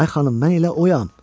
Ay xanım, mən elə oyam.